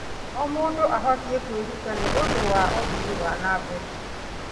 O mũndũ abatiĩ kwĩrutĩra nĩ ũndũ wa ũthii wa na mbere.